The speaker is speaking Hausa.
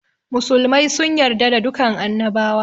Musulmai sun yarda da dukan annabawa